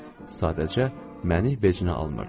Sadəcə məni vecinə almırdı.